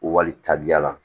Wali taabiya la